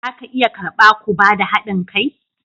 Za ku iya karba ku ba da hadin kai?